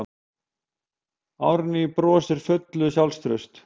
Árný brosir full sjálfstrausts.